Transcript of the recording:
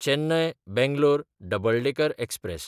Chennai-Bangalore double decker express